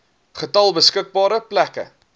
getal beskikbare plekke